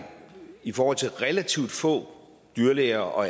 i forhold til relativt få dyrlæger og